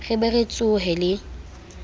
re be re tsohe le